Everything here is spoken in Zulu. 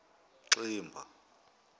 ximba